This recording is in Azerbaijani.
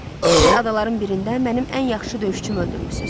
Siz adaların birində mənim ən yaxşı döyüşçümü öldürmüsüz.